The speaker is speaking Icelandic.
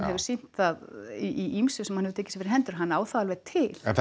hefur sýnt það í ýmsu sem hann hefur tekið sér fyrir hendur að hann á það alveg til en